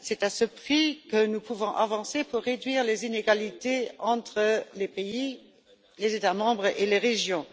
C'est à ce prix que nous pouvons avancer pour réduire les inégalités entre les pays, les États membres et les régions.